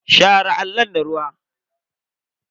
Share allon da ruwa.